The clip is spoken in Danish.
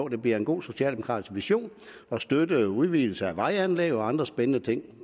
det bliver en god socialdemokratisk vision at støtte en udvidelse af vejanlæg og andre spændende ting